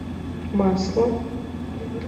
масло